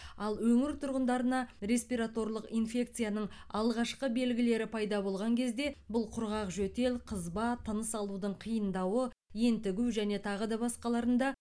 ал өңір тұрғындарына респираторлық инфекцияның алғашқы белгілері пайда болған кезде бұл құрғақ жөтел қызба тыныс алудың қиындауы ентігу және тағы да басқаларында